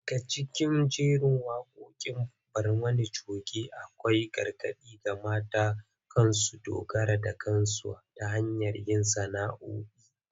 Daga cikin jigogin waqoqin Barmani coge akwai gargadi ga mata kan su dogara da kansu ta hanyar yin sana’’o’i